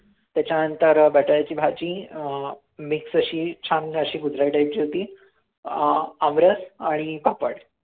त्याच्यानंतर बटाट्याची भाजी अं mix अशी छान अशी गुजराती type ची होती अं आमरस आणि पापड